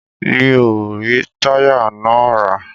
Mi o rí táyà náà rà.